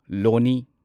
ꯂꯣꯅꯤ